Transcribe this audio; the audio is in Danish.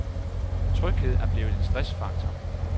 Tryghed er blevet en stressfaktor.